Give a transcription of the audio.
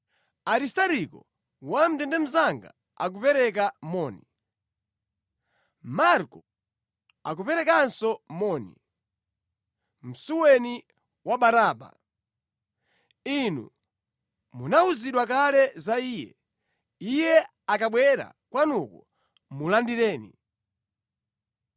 Aristariko, wamʼndende mnzanga akupereka moni, Marko akuperekanso moni, msuweni wa Barnaba. (Inu munawuzidwa kale za Iye. Iye akabwera kwanuko, mulandireni).